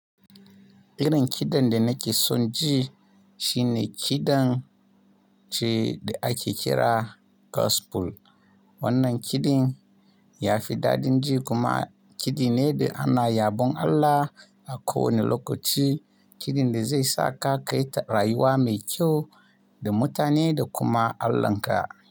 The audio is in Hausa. Irin kiɗan da nake son ji shine kiɗan ce da ake kira gospel. Wannan kiɗin ya fi daɗin ji kuma kiɗi ne da ana yabon Allah a kowane lokaci. Kiɗin da zai saka kayi ta rayuwa mai kyau da mutane da kuma Allahn ka.